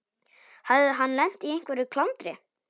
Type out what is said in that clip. Hafði hann lent í einhverju klandri?